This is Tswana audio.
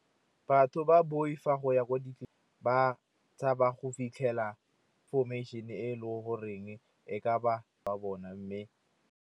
Batho ba boifa go ya kwa ba tshaba go fitlhela information e le goreng e ka ba ka bona mme.